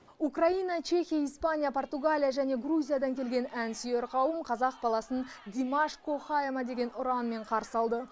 украина чехия испания португалия және грузиядан келген әнсүйер қауым қазақ баласын димаш кохаэмо деген ұранмен қарсы алды